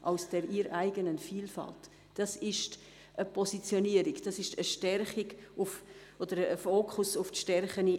«[… aus der ihr eigenen Vielfalt», dabei handelt es sich um eine Positionierung, das ist ein Fokus auf deren Stärken.